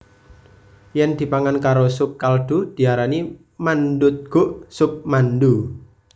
Yen dipangan karo sup kaldu diarani mandutguk sup mandu